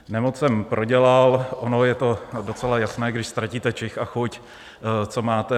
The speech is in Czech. Nemoc jsem prodělal, ono je to docela jasné, když ztratíte čich a chuť, co máte.